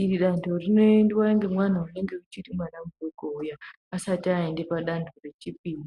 Iri danto rinoendwa ngemwana unenge uchiri mwana mudoko uya asati aende padanto rechipiri.